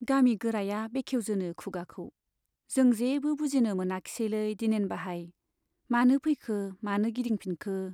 गामि गोराया बेखेउजेनो खुगाखौ, जों जेबो बुजिनो मोनाखिसैलै दिनेन बाहाइ, मानो फैखो, मानो गिदिंफिनखो ?